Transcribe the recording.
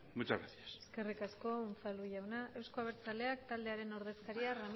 muchas gracias eskerrik asko unzalu jauna euzko abertzaleak taldearen ordezkaria